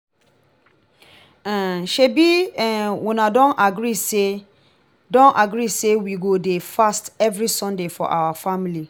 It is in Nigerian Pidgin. um shebi um una don agree say don agree say we go dey fast every sunday for our family